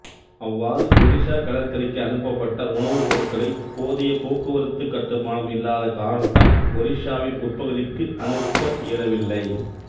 அவ்வாறு ஒரிசா கடற்கரைக்கு அனுப்பபட்ட உணவுப் பொருட்களை போதிய போக்குவரத்து கட்டுமானம் இல்லாத காரணத்தால் ஒரிசாவின் உட்பகுதிக்கு அனுப்ப இயலவில்லை